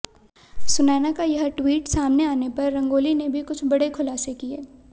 सुनैना का यह ट्वीट सामने आने पर रंगोली ने भी कुछ बड़े खुलासे किए